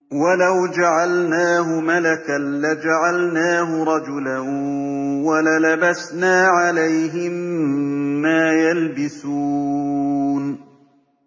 وَلَوْ جَعَلْنَاهُ مَلَكًا لَّجَعَلْنَاهُ رَجُلًا وَلَلَبَسْنَا عَلَيْهِم مَّا يَلْبِسُونَ